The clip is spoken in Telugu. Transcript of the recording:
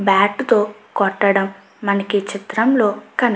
బ్యాట్ తో కోటడం మనకి చిత్రం లో కనిపిస్తు --